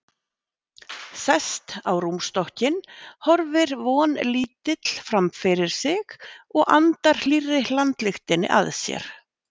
Sest á rúmstokkinn, horfir vonlítill framfyrir sig og andar hlýrri hlandlyktinni að sér.